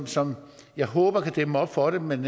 som jeg håber kan dæmme op for det men